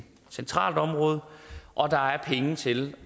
centralt område og der er penge til